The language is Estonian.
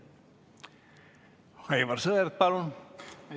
Aivar Sõerd, palun!